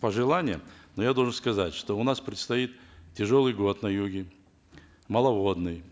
пожелание но я должен сказать что у нас предстоит тяжелый год на юге маловодный